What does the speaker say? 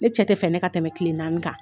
Ne cɛ tɛ fɛ ne ka tɛmɛ kile naani kan.